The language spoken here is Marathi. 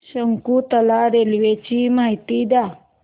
शकुंतला रेल्वे ची माहिती द्या